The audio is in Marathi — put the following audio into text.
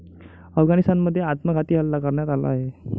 अफगाणिस्तानमध्ये आत्मघाती हल्ला करण्यात आला आहे.